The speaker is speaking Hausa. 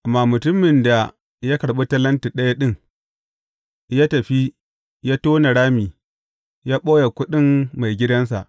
Amma mutumin da ya karɓi talenti ɗaya ɗin, ya tafi, ya tona rami, ya ɓoye kuɗin maigidansa.